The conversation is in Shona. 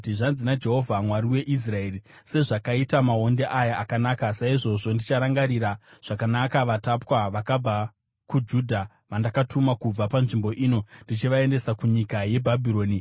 “Zvanzi naJehovha, Mwari weIsraeri, ‘Sezvakaita maonde aya akanaka, saizvozvo ndicharangarira zvakanaka vatapwa vakabva kuJudha vandakatuma kubva panzvimbo ino ndichivaendesa kunyika yeBhabhironi.